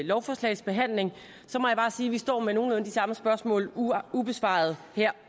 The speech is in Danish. lovforslagsbehandling må jeg bare sige at vi står med nogenlunde de samme spørgsmål ubesvarede her